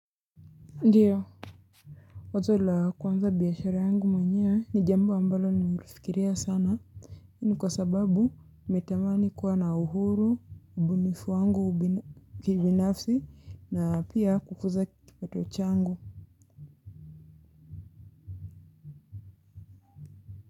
Ndiyo wazo la kuanza biashara yangu mwenyewe ni jambo ambalo nimelifikiria sana hii ni kwa sababu nimetamani kuwa na uhuru ubunifu wangu kibinafsi na pia kukuza kipato changu.